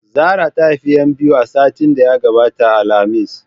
Zara ta haifi 'yan biyu a satin da ya gabata alhamis.